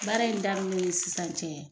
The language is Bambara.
Baara in daminɛ ni sisan cɛ